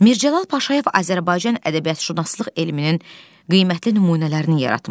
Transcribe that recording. Mircəlal Paşayev Azərbaycan ədəbiyyatşünaslıq elminin qiymətli nümunələrini yaratmışdı.